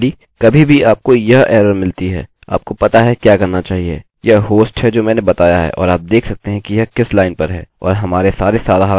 यह होस्ट है जो मैंने बताया है और आप देख सकते हैं कि यह किस लाइन पर है और हमारे सारे साधारण डीबगिंग कोड हैं